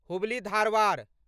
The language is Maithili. हुबली धारवाड़